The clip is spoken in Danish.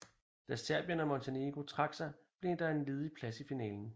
Da Serbien og Montenegro trak sig blev der en ledig plads i finalen